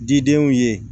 Didenw ye